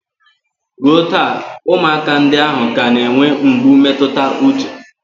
Ruo taa, ụmụaka ndị ahụ ka na-enwe mgbu mmetụta uche